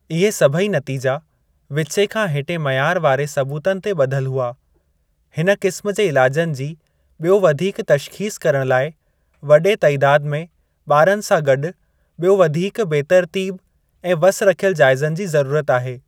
इहे सभई नतीजा विचें खां हेठें मयार वारे सबूतनि ते ब॒धियलु हुआ, हिन क़िस्मु जे इलाजनि जी बि॒यो वधीक तशख़ीसु करणु लाइ वडे॒ तइदादु में ॿारनि सां गॾु ॿियो वधीक बेतरतीबु ऐं वस रखियलु जाइज़नि जी ज़रुरत आहे।